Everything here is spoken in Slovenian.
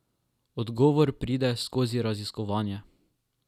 Odgovor pride skozi raziskovanje.